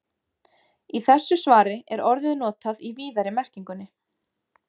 Í þessu svari er orðið notað í víðari merkingunni.